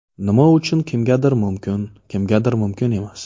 Nima uchun kimgadir mumkin, kimgadir mumkin emas.